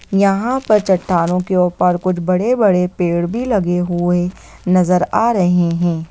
यहाँ पर चट्टानों के ऊपर कुछ बड़े-बड़े पेड़ भी लगे हुए नजर आ रहे है।